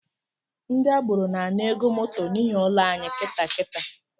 Ndi agboro na-ana ego moto n’ihi ụlọ anyị kịtaa kitaa